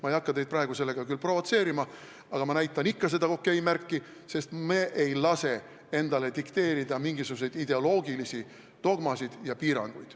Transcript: Ma ei hakka teid praegu sellega küll provotseerima, aga ma näitan ikka seda OK-märki, sest me ei lase endale dikteerida mingisuguseid ideoloogilisi dogmasid ega piiranguid.